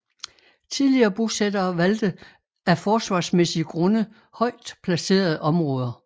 Tidlige bosættere valgte af forsvarsmæssige grunde højt placerede områder